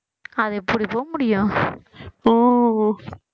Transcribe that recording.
அது எப்படி போக முடியும்